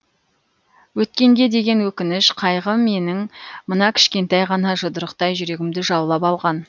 өткенге деген өкініш қайғы менің мына кішкентай ғана жұдырықтай жүрегімді жаулап алған